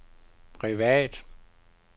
privat